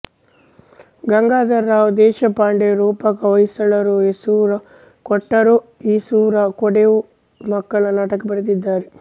ಗಂಗಾಧರರಾವ್ ದೇಶಪಾಂಡೆ ರೂಪಕ ಹೊಯ್ಸಳರು ಏಸೂರು ಕೊಟ್ಟರೂ ಈಸೂರು ಕೊಡೆವು ಮಕ್ಕಳ ನಾಟಕ ಬರೆದಿದ್ದಾರೆ